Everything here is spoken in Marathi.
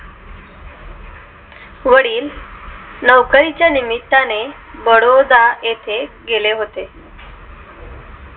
वडील नोकरी च्या निमित्ताने बडोदा येथे गेले होते.